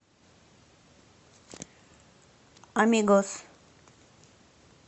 амигос